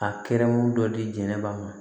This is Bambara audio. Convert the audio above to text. A kɛrɛmu dɔ di jɛnɛba ma